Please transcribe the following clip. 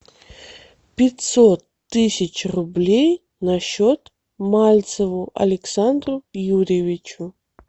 пятьсот тысяч рублей на счет мальцеву александру юрьевичу